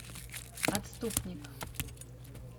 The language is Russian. отступник